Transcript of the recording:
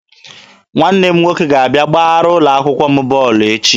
Nwanne m nwoke ga-abịa gbara ụlọ akwụkwọ m bọọlụ echi.